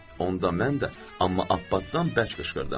Onda mən də, amma Abbatdan bərk qışqırdım.